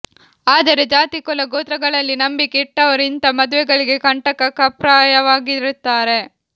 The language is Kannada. ಆದರೆ ಜಾತಿ ಕುಲ ಗೋತ್ರಗಳಲ್ಲಿ ನಂಬಿಕೆ ಇಟ್ಟವರು ಇಂಥ ಮದುವೆಗಳಿಗೆ ಕಂಟಕಪ್ರಾಯವಾಗಿರುತ್ತಾರೆ